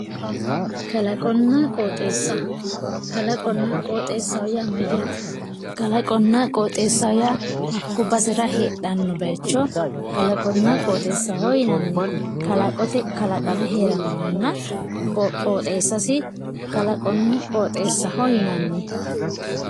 kalaqonna qooxeesa kalaqonna qooxeesaho yaa mayaate kalaqonna qooxeesaho yaa hakko basera heedhanno bayiico kalaqonna qooxeesaho yinanni kalaqote kalaqame heeranohanna qooxeesasi kalaqonna qooxeesaho yinanni.